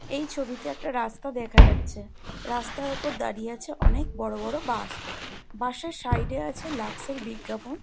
এই ছবিতে একটা রাস্তা দেখা যাচ্ছে রাস্তার ওপর দাঁড়িয়ে আছে অনেক বড় বড় বাস । বাস এর সাইড এ আছে লাক্স এর বিজ্ঞাপন।